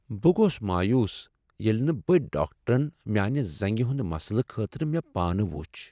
بہٕ گوس مایوس ییٚلہ نہٕ بٔڈۍ ڈاکٹرن میانہِ زنٛگہ ہنٛد مسلہٕ خٲطرٕ مےٚ پانہٕ وُچھ ۔